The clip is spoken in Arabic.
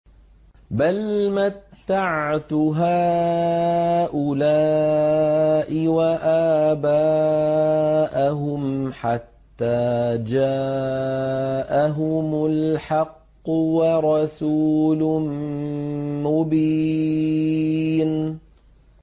بَلْ مَتَّعْتُ هَٰؤُلَاءِ وَآبَاءَهُمْ حَتَّىٰ جَاءَهُمُ الْحَقُّ وَرَسُولٌ مُّبِينٌ